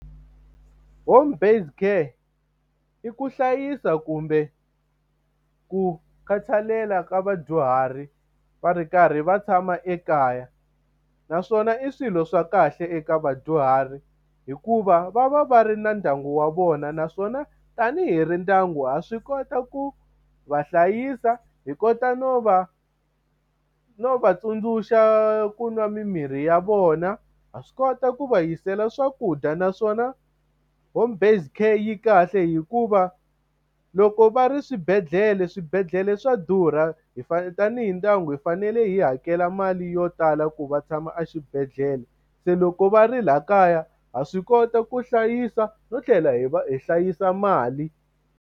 Home-based care i ku hlayisa kumbe ku khathalela ka vadyuhari va ri karhi va tshama ekaya, naswona i swilo swa kahle eka vadyuhari. Hikuva va va va ri na ndyangu wa vona, naswona tanihi ri ndyangu ha swi kota ku va hlayisa. Hi kota no va no va tsundzuxa ku nwa mimirhi ya vona, ha swi kota ku va yisela swakudya. Naswona home-based care yi kahle hikuva loko va ri swibedhlele, swibedhlele swa durha. Hi tanihi ndyangu hi fanele hi hakela mali yo tala ku va tshama exibedhlele. Se loko va ri laha kaya ha swi kota ku hlayisa no tlhela hi va hi hlayisa mali.